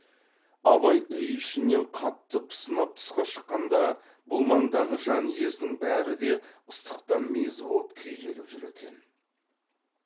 абай үй ішінен қатты пысынап тысқа шыққанда бұл маңдағы жан иесінің бәрі де ыстықтан мезі боп күйзеліп жүр екен